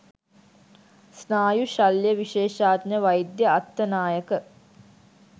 ස්නායු ශල්‍යවිශේෂඥ වෛද්‍ය අත්තනායක